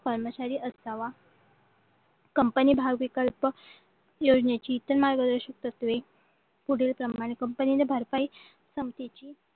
कर्मचारी असावा कंपनी भाव विकल्पयोजनेची इतर मार्गदर्शक तत्वे पुढीलप्रमाणे कंपनीने भरपाई क्षमतेची